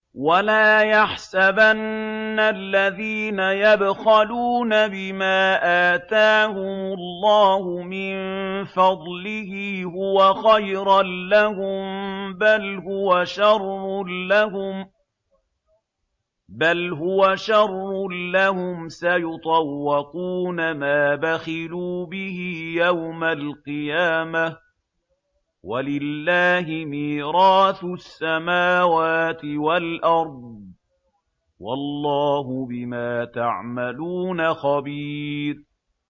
وَلَا يَحْسَبَنَّ الَّذِينَ يَبْخَلُونَ بِمَا آتَاهُمُ اللَّهُ مِن فَضْلِهِ هُوَ خَيْرًا لَّهُم ۖ بَلْ هُوَ شَرٌّ لَّهُمْ ۖ سَيُطَوَّقُونَ مَا بَخِلُوا بِهِ يَوْمَ الْقِيَامَةِ ۗ وَلِلَّهِ مِيرَاثُ السَّمَاوَاتِ وَالْأَرْضِ ۗ وَاللَّهُ بِمَا تَعْمَلُونَ خَبِيرٌ